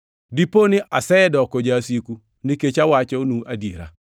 Dipo ni asedoko jasiku nikech awachonu adiera?